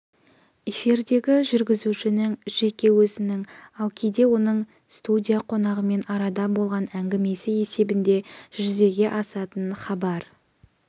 эфирдегі жүргізушінің жеке өзінің ал кейде оның студия қонағымен арада болатын әңгімесі есебінде жүзеге асатын хабар